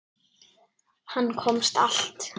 Hann komst allt.